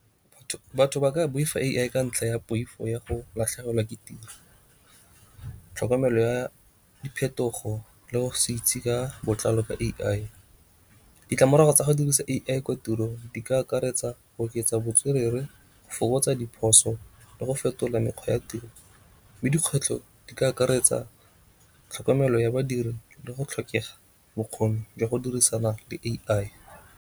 Batho ba ka boifa A_I ka ntlha ya poifo ya go latlhegelwa ke tiro, tlhokomelo ya diphetogo le go se itse ka botlalo ka A_I. Ditlamorago tsa go dirisa A_I kwa tirong di ka akaretsa go oketsa botswerere, go fokotsa diphoso le go fetola mekgwa ya tiro. Mme dikgwetlho di ka akaretsa tlhokomelo ya badiri le go tlhokega bokgoni jwa go dirisana le A_I.